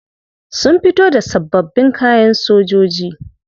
Sun fito da sabbabin kayan sojoji.